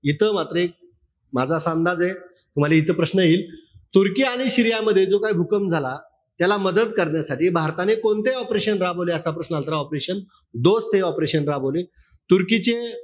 इथं मात्र एक माझा असा अंदाजे. तुम्हाला इथं प्रश्न येईल. तुर्की आणि सीरियामध्ये जो काई भूकंप झाला. त्याला मदत करण्यासाठी भारताने कोणते operation राबवले? असा प्रश्न आला तर ऑपेरेशन दोस्त हे operation राबवले. तुर्कीचे,